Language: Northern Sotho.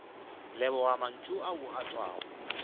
leboga mantšu ao a tšwago